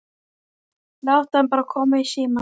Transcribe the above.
Láttu hana bara koma í símann.